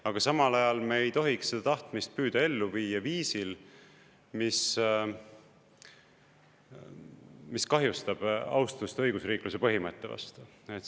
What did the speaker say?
Aga samal ajal me ei tohiks seda tahtmist püüda ellu viia viisil, mis kahjustab austust õigusriikluse põhimõtte vastu.